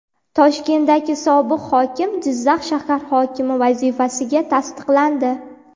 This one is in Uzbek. Toshkentning sobiq hokimi Jizzax shahar hokimi vazifasiga tasdiqlandi.